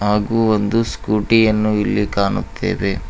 ಹಾಗು ಒಂದು ಸ್ಕೂಟಿ ಯನ್ನು ಇಲ್ಲಿ ಕಾಣುತ್ತೇವೆ.